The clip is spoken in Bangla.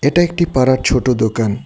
এটা একটি পাড়ার ছোট দোকান।